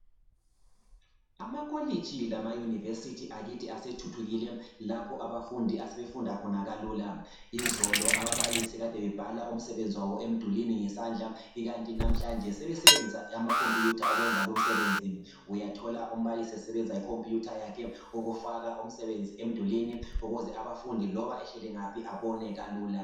Amakolitshi lamaYunivesithi akithi asethuthukile lapha abafundi abasebefunda khona kalula. Izolo ababalisi abakade bebhala umsebenzi wabo emdulwini ngesandla ikanti namhlanje sebesebenzisa amakhomputha ukwenza lu msebenzi uyathola umbalisi esebenzisa ikhomputha yakhe ukufaka umsebenzi emdulwini ukuze abafundi loba behleli ngaphi abone kalula.